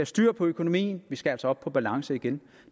styr på økonomien vi skal altså op på balance igen